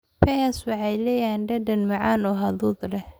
Pears waxay leeyihiin dhadhan macaan oo hadhuudh leh.